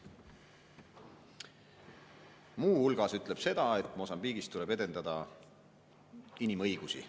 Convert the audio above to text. Muu hulgas ütleb seda, et Mosambiigis tuleb edendada inimõigusi.